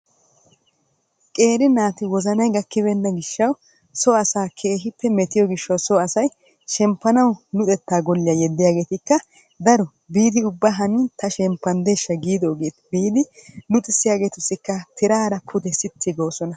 Qeeri naati wozanay gakkibeenna giishshawu so asaa keehippe metiyoo gishshawu so asay shemppanawu luxettaa golliyaa yeeddiyaagetikka daro biidi luxxissiyaagetussikka biidi tiraara sitti goosona.